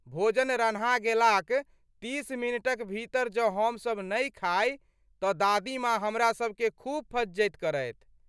भोजन रन्हा गेलाक तीस मिनटक भीतर जँ हमसब नहि खाइ तँ दादी माँ हमरा सबकेँ खूब फज्झति करथि।